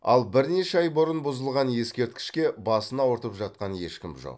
ал бірнеше ай бұрын бұзылған ескерткішке басын ауыртып жатқан ешкім жоқ